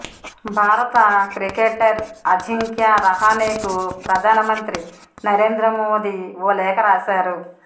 భారత క్రికెటర్ ఆజింక్య రహానేకు ప్రధాన మంత్రి నరేంద్ర మోదీ ఓ లేఖ రాశారు